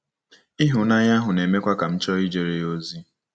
Ịhụnanya ahụ na-emekwa ka m chọọ ijere ya ozi.